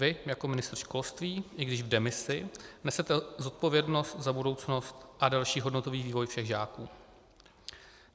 Vy jako ministr školství, i když v demisi, nesete zodpovědnost za budoucnost a další hodnotový vývoj všech žáků.